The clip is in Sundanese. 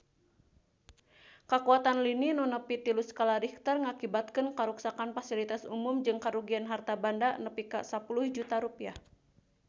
Kakuatan lini nu nepi tilu skala Richter ngakibatkeun karuksakan pasilitas umum jeung karugian harta banda nepi ka 10 juta rupiah